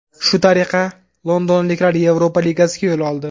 Shu tariqa londonliklar Yevropa Ligasiga yo‘l oldi.